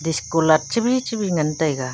cheko light chebhi chebhi ngan taiga.